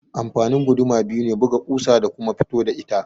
Amfanin guduma biyu ne, buga ƙusa da kuma fito da ita.